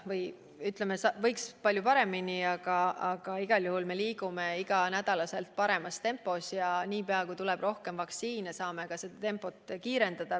Muidugi võiks palju paremini, aga igal juhul me liigume iga nädal aina paremas tempos ja niipea, kui tuleb rohkem vaktsiine, saame tempot kiirendada.